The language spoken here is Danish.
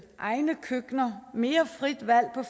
egne køkkener mere frit valg